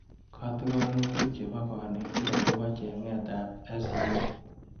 Katikanutik chebo konekit akobo cheng'etap S.E.O